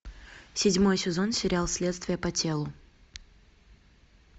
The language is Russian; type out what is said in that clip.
седьмой сезон сериал следствие по телу